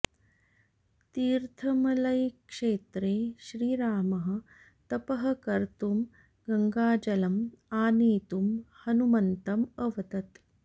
तीर्थमलैक्षेत्रे श्रीरामः तपः कर्तुं गङ्गाजलम् आनेतुं हनूमन्तम् अवदत्